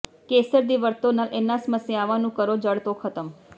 ਕੇਸਰ ਦੀ ਵਰਤੋ ਨਾਲ ਇਨ੍ਹਾਂ ਸਮੱਸਿਆਵਾਂ ਨੂੰ ਕਰੋ ਜੜ੍ਹ ਤੋਂ ਖਤਮ